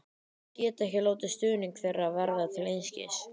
Ég get ekki látið stuðning þeirra verða til einskis.